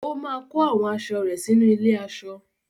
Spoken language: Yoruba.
Ó máa kó àwọn aṣọ rẹ̀ sínú ilé-aṣọ.